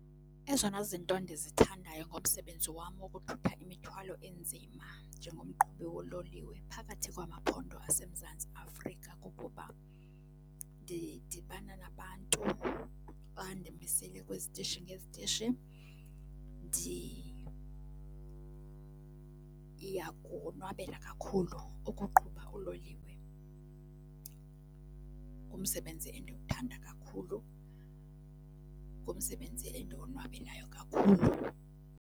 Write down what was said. Ezona zinto ndizithandayo ngomsebenzi wam wokuthutha imithwalo enzima njengomqhubi woololiwe phakathi kwamaphondo aseMzantsi Afrika kukuba ndidibana nabantu xa ndimisile kwizitishi ngezitishi. Ndiyakonwabela kakhulu ukuqhuba uloliwe, ngumsebenzi endiwuthanda kakhulu, ngumsebenzi endiwonwabelayo kakhulu.